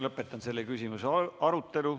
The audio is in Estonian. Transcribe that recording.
Lõpetan selle küsimuse arutelu.